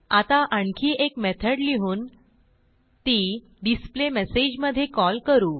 आता आणखी एक मेथड लिहून ती डिस्प्लेमेसेज मधे कॉल करू